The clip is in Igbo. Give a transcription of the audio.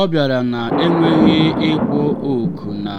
ọ bịara na-enweghị ịkpọ oku na